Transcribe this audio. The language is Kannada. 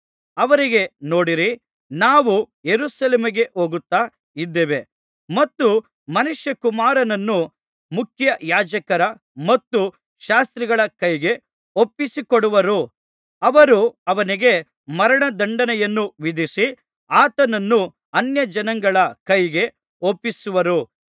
ಅವರಿಗೆ ನೋಡಿರಿ ನಾವು ಯೆರೂಸಲೇಮಿಗೆ ಹೋಗುತ್ತಾ ಇದ್ದೇವೆ ಮತ್ತು ಮನುಷ್ಯಕುಮಾರನನ್ನು ಮುಖ್ಯಯಾಜಕರ ಮತ್ತು ಶಾಸ್ತ್ರಿಗಳ ಕೈಗೆ ಒಪ್ಪಿಸಿಕೊಡುವರು ಅವರು ಅವನಿಗೆ ಮರಣದಂಡನೆಯನ್ನು ವಿಧಿಸಿ ಆತನನ್ನು ಅನ್ಯಜನಗಳ ಕೈಗೆ ಒಪ್ಪಿಸುವರು